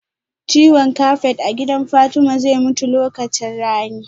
Ciwon kafet a gidan Fatma zai mutu lokacin rani